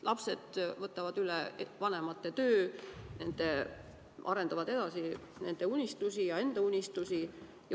Lapsed võtavad üle vanemate töö, arendavad edasi nende unistusi ja enda unistusi.